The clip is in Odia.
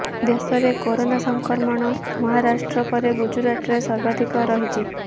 ଦେଶରେ କରୋନା ସଂକ୍ରମଣ ମହାରାଷ୍ଟ୍ର ପରେ ଗୁଜୁରାଟରେ ସର୍ବାଧିକ ରହିଛି